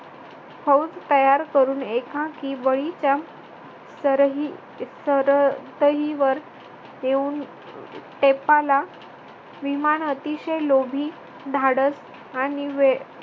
फौज तयार करून एकांकी बळीच्या सरहीसरतहीवर देऊन टेपाला विमान अतिशय लोभी धाडस आणि वेळ